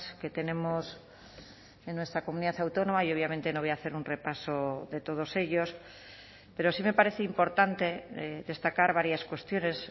que tenemos en nuestra comunidad autónoma y obviamente no voy a hacer un repaso de todos ellos pero sí me parece importante destacar varias cuestiones